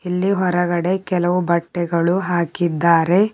ಇಲ್ಲಿ ಹೊರಗಡೆ ಕೆಲವು ಬಟ್ಟೆಗಳು ಹಾಕಿದ್ದಾರೆ.